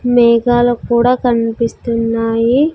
మేఘాలు కూడా కనిపిస్తున్నాయి.